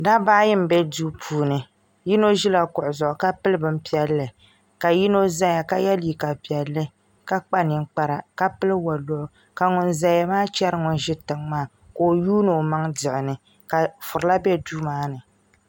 Dabba ayi n bɛ duu puuni yino ʒila kuɣu zuɣu ka pili bin piɛlli ka yino ʒɛya ka yɛ liiga piɛlli ka kpa ninkpara ka pili woliɣi ka ŋun ʒɛya maa chɛri ŋun ʒi tiŋ maa ka o yuundi o maŋ diɣi ni ka furila bɛ duu maa ni